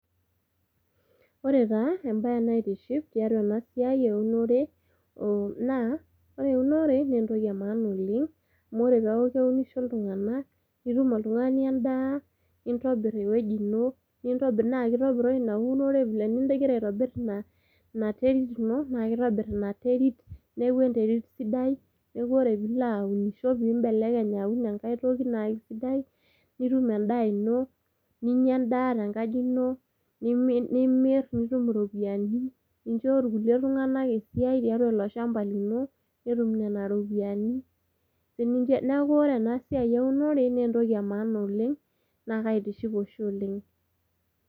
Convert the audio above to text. Ore taa embaye naitiship tiatua ena siai eunore oh naa ore eunore nentoki e maana oleng amu ore peeku keunisho iltung'anak nitum oltung'ani endaa nintobirr ewueji ino nintobirr naa kitopiroi ina unore vile eningira aitobirr ina inaterit ino naa kitobirr ina terit neeku enterit sidai neeku ore piilo aunisho pimbelekeny aun enkae toki naa kisidai nitum endaa ino ninyia endaa tenkaji nimi nimirr nitum iropiani nincho irkulie tung'anak esiai tiatua ilo shamba lino netum nena ropiani sininche naku ore ena siai eunore nentoki e maana oleng naa kaitiship oshi oleng.